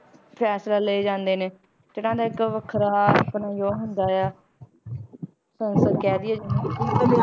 ਫੈਸਲਾ ਲਏ ਜਾਂਦੇ ਨੇ, ਤੇ ਇਹਨਾਂ ਦਾ ਇੱਕ ਵੱਖਰਾ ਆਪਣਾ ਉਹ ਹੁੰਦਾ ਆ ਤਾਂ ਮਤਲਬ ਕਹਿ ਦੇਈਏ ਜਿਵੇਂ